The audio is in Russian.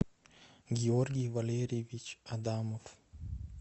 георгий валерьевич адамов